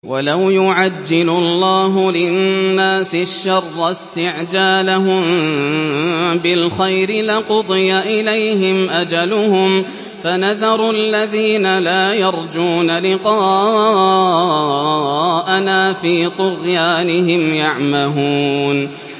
۞ وَلَوْ يُعَجِّلُ اللَّهُ لِلنَّاسِ الشَّرَّ اسْتِعْجَالَهُم بِالْخَيْرِ لَقُضِيَ إِلَيْهِمْ أَجَلُهُمْ ۖ فَنَذَرُ الَّذِينَ لَا يَرْجُونَ لِقَاءَنَا فِي طُغْيَانِهِمْ يَعْمَهُونَ